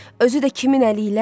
Özü də kimin əliylə?